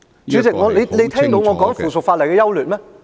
主席，你有聽到我在說附屬法例的優劣嗎？